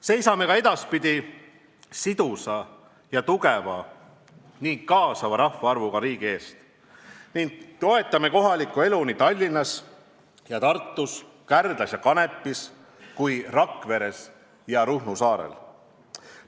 Seisame ka edaspidi sidusa ja tugeva ning kasvava rahvaarvuga riigi eest ning toetame kohalikku elu nii Tallinnas kui Tartus, nii Kärdlas kui Kanepis, nii Rakveres kui ka Ruhnu saarel.